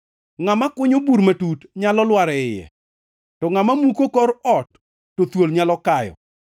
Ngʼama kunyo bur matut nyalo lwar e iye; to ngʼama muko kor ot thuol nyalo kayo.